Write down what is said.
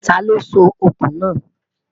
tá ló sọ òkun na?